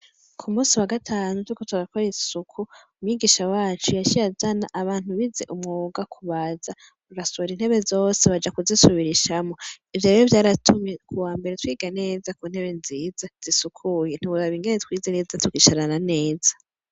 Ku musi wa gatantu tuko turakora isuku umwigisha wacu yashirajana abantu bize umwoga kubaza urasura intebe zose baja kuzisubira ishamwo ivyo bibe vyaratumye ku wa mbere twiga neza ku ntebe nziza zisukuye ntiburaba ingene twize neza tugisharana neza.